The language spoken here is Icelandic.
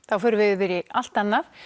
þá förum við yfir í allt annað